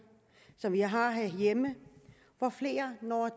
som vi har herhjemme hvor flere når